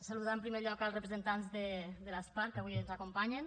saludar en primer lloc els representants de l’asparc que avui ens acompanyen